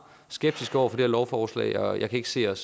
skeptiske over for det her lovforslag og jeg kan ikke se os